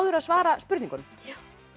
að svara spurningunum já